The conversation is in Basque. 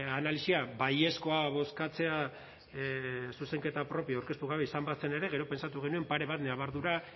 analisia baiezkoa bozkatzea zuzenketa propio aurkeztu gabe izan bazen ere gero pentsatu genuen pare bat ñabardura